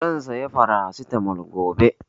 Zan saya Farasitamol gobe